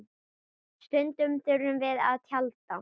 Stundum þurftum við að tjalda.